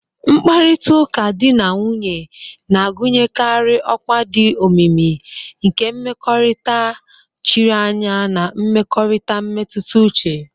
Mkparịta ụka di na nwunye na-agụnyekarị ọkwa dị omimi nke mmekọrịta chiri anya na mmekọrịta mmetụta uche.